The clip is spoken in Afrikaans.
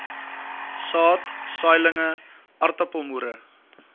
saad saailinge aartappelmoere